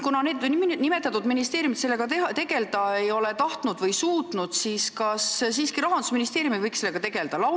Kuna need ministeeriumid sellega tegelda ei ole tahtnud või suutnud, siis kas Rahandusministeerium ei võiks sellega tegelda?